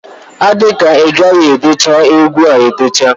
Ọ dika igaghi edecha egwu a edecha.